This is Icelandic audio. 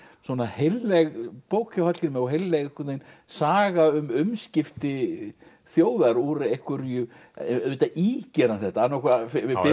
heilleg bók hjá Hallgrími og heilleg saga um umskipti þjóðar úr einhverju auðvitað ýkir hann þetta við